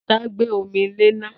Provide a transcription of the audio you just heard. Ta gbé omi lé ná?